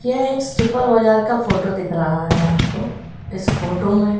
यह एक सुपर बाजार का फोटो दिख रहा है आपको। इस फोटो में --